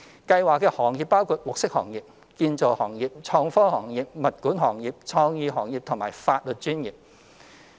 計劃的行業包括綠色行業、建造行業、創科行業、物管行業、創意行業及法律專業。